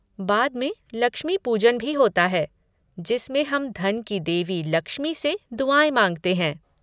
बाद में 'लक्ष्मी पूजन' भी होता है जिसमें हम धन की देवी लक्ष्मी से दुआएँ माँगते हैं।